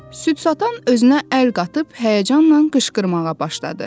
Süd satan özünə əl qatıb həyəcanla qışqırmağa başladı.